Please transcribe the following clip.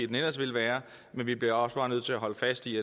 den ellers ville være men vi bliver også bare nødt til at holde fast i